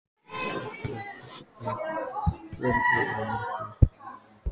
Sofía, hvernig er veðrið á morgun?